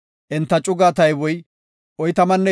Enta cugaa tayboy 45,650.